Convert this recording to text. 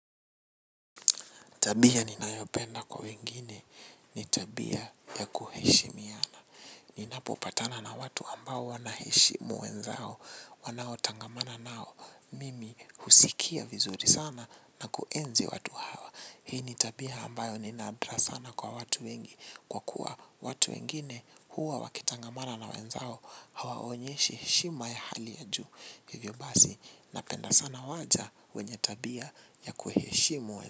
Tabia ni nayopenda kwa wengine ni tabia ya kuheshimiana. Ninapopatana na watu ambao wanaheshimu wenzao. Wanao tangamana nao mimi husikia vizuri sana na kuenzi watu hawa. Hii ni tabia ambayo ni nadra sana kwa watu wengi. Kwa kuwa watu wengine huwa wakitangamana na wenzao hawaonyeshi hishima ya hali ya juu. Hivyo basi napenda sana waja wenye tabia ya kuheshimu.